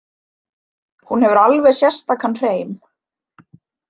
Hún hefur alveg sérstakan hreim.